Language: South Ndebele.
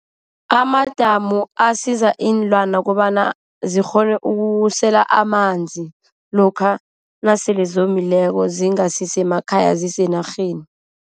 Amadamu asiza iinlwana kobana zikghone ukusela amanzi. Lokha nasele zomile, zingasi semakhaya zisenarheni.